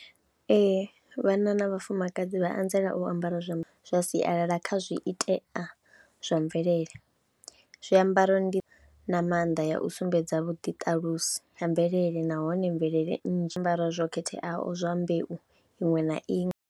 Ee vhana na vhafumakadzi vha anzela u ambara zwiambaro zwa sialala kha zwiitea zwa mvelele, zwiambaro ndi na maanḓa ya u sumbedza vhuḓiṱalusi ha mvelele nahone mvelele nnzhi ambara zwo khetheaho zwa mbeu iṅwe na iṅwe.